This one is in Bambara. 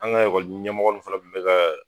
An ka ekɔli ɲɛmɔgɔ ninnu fana bɛ ka